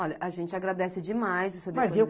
Olha, a gente agradece demais o seu depoimento.